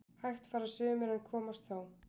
Hægt fara sumir en komast þó